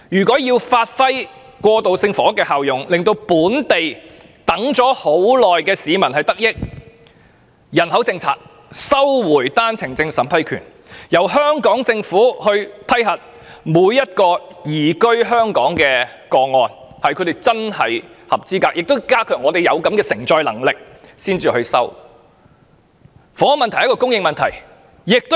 過渡性房屋要發揮效用，讓輪候已久的本地市民得益，政府便必須修訂人口政策，並收回單程證審批權，由香港政府審視每宗移居香港個案的申請是否真的符合資格，並必須顧及本港的承載力，才予以批准。